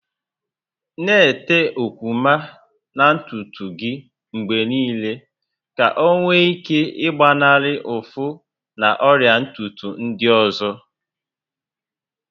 Na-ete okwuma na ntutu gị mgbe niile ka ọ nwee ike ịgbanarị ụfụ na ọrịa ntutu ndị ọzọ